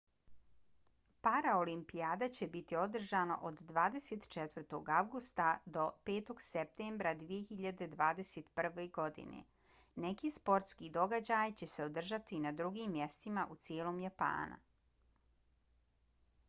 paraolimpijada će biti održana od 24. avgusta do 5. septembra 2021. godine. neki sportski događaji će se održati i na drugim mjestima u cijelom japana